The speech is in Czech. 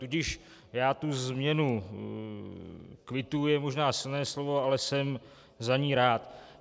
Tudíž já tu změnu - kvituji je možná silné slovo, ale jsem za ni rád.